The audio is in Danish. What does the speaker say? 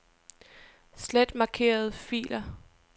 Slet markerede filer.